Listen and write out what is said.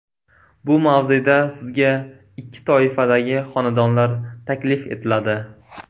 Bu mavzeda sizga ikki toifadagi xonadonlar taklif etiladi.